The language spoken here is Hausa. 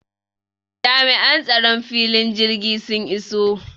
Jami'an tsaron filin jirgi sun iso